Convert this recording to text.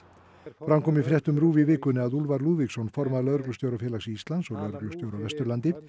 fram kom í fréttum RÚV í vikunni að Úlfar Lúðvíksson formaður Lögreglustjórafélags Íslands og lögreglustjóri á Vesturlandi